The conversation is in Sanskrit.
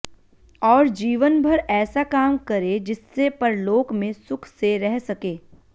और जीवनभर ऐसा काम करे जिससे परलोक में सुख से रह सके